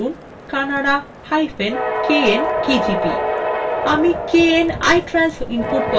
আমি knitrans input পদ্ধতি ব্যবহার করব যা শিক্ষার্থীদের জন্য সরল এবং সহজতম